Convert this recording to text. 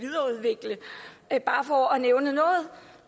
er bare for at nævne noget